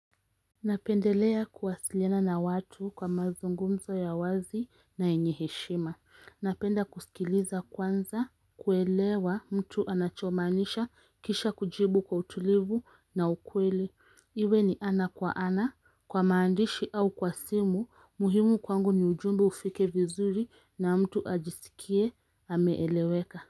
Napendelea kuwasiliana na watu kwa mazungumzo ya wazi na yenye heshima. Napenda kusikiliza kwanza, kuelewa mtu anachomaanisha, kisha kujibu kwa utulivu na ukweli. Iwe ni ana kwa ana, kwa maandishi au kwa simu. Muhimu kwangu ni ujumbe ufike vinzuri na mtu ajisikie ameeleweka.